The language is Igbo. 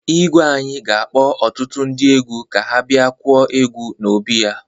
Igwe anyị ga-akpọ ọtụtu ndị egwu ka ha bịa kụọ egwu n'obi ya.